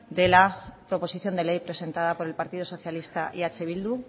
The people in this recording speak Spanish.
de la proposición de ley presentada por el partido socialista y eh bildu